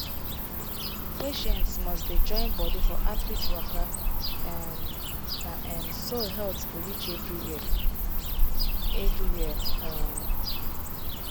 patients must dey join body for outreach waka um na um so health go reach everywhere. everywhere. um